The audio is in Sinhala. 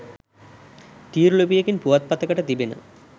තීරුලිපියකින් පුවත්පතකට තිබෙන